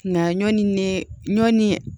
Nka ɲɔ ni ne ɲɔɔni